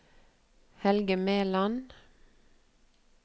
Helge Meland